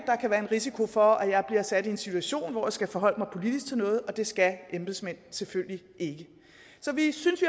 kan være en risiko for at jeg bliver sat i en situation hvor jeg skal forholde mig politisk til noget og det skal embedsmænd selvfølgelig ikke så vi synes